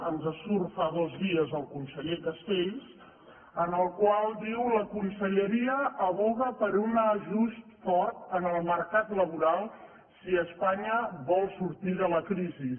ens surt fa dos dies el conseller castells el qual diu la conselleria advoca per un ajust fort en el mercat laboral si espanya vol sortir de la crisi